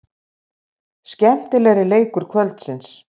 Skemmtilegri leikur kvöldsins.